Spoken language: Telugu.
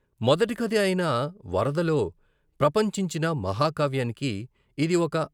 మొదటి కథ అయిన వరదలో ప్రపంచించిన మహాకావ్యానికి ఇది ఒక.